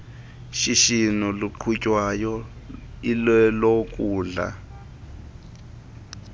shishino luqhutywayo ilolokutya